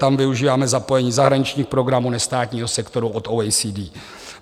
Tam využíváme zapojení zahraničních programů nestátního sektoru od OECD.